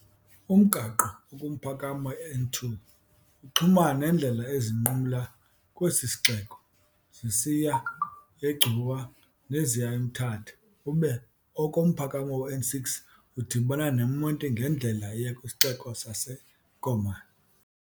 Umgaqo okumphakamo iN2 uxhumana neendlela ezinqumla kwesi sixeko zisiya eGcuwa neziya eMthatha, ube okumphakamo weN6 udibana neMonti ngendlela eya kwisixeko saseKomani.